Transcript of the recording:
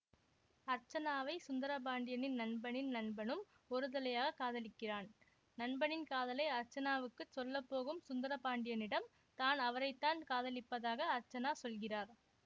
அர்ச்சனாவை சுந்திரபாண்டியனின் நண்பனின் நண்பனும் ஒரு தலையாகக் காதலிக்கிறான் நண்பனின் காதலை அர்ச்சனாவுக்கு சொல்ல போகும் சுந்தரபாண்டியனிடம் தான் அவரைத்தான் காதலிப்பதாக அர்ச்சனா சொல்கிறார்